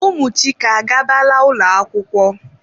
Ụmụ Chike agabala ụlọ akwụkwọ?